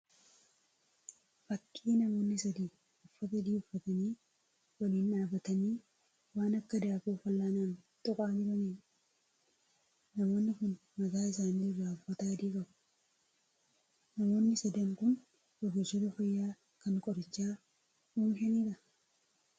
Fakkii namoonni sadii uffata adii uffatanii waliin dhaabbatanii waan akka daakuu fal'aanaan tuqaa jiraniidha. Namoonni kun mataa isaanii irraa uffata adii qabu. Namoonni sadan kun ogeessota fayyaa kan qoricha oomishaniidhaa?